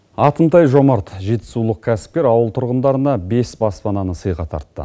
атымтай жомарт жетісулық кәсіпкер ауыл тұрғындарына бес баспананы сыйға тартты